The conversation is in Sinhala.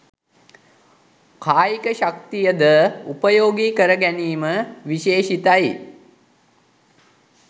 කායික ශක්තිය ද උපයෝගී කර ගැනීම විශේෂිතයි